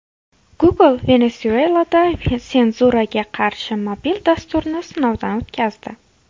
Google Venesuelada senzuraga qarshi mobil dasturni sinovdan o‘tkazdi.